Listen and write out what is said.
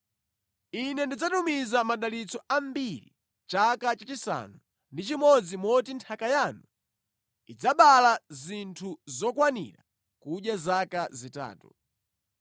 Ine ndidzatumiza madalitso ambiri chaka chachisanu ndi chimodzi moti nthaka yanu idzabala zinthu zokwanira kudya zaka zitatu.